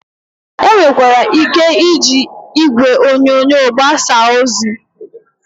E nwekwara ike iji igwe onyonyo agbasa ozi.